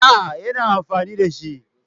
A'a, yana amfani da shi.